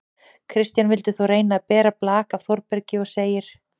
Kristján vildi þó reyna að bera blak af Þórbergi og segir: